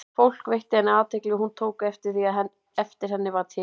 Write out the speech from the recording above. Fólk veitti henni athygli, og hún tók eftir því, að eftir henni var tekið.